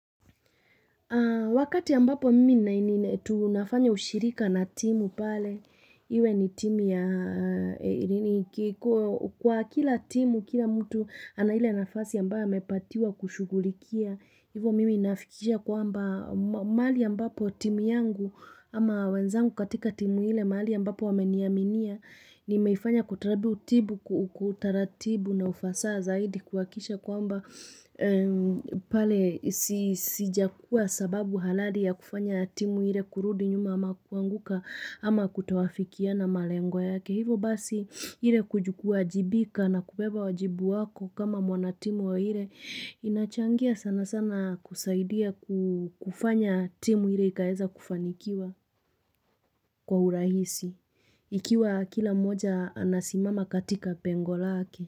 Wakati ambapo mimi tunafanya ushirika na timu pale, iwe ni timu ya kwa kila timu kila mtu ana ile nafasi ambayo amepatiwa kushughulikia. Hivo mimi nafikisha kwamba mahali ambapo timu yangu ama wenzangu katika timu ile mahali ambapo wameniaminia nimeifanya kwa utaratibu kwa utaratibu na ufasa zaidi kuhakikisha kwamba pale sijakua sababu halali ya kufanya timu hile kurudi nyuma ama kuanguka ama kutowafikia na malengo yake. Hivo basi ile kuwajibika na kubeba wajibu wako kama mwanatimu wa ile inachangia sana sana kusaidia kufanya timu hile ikaeza kufanikiwa kwa urahisi. Ikiwa kila mmoja anasimama katika pengo lake.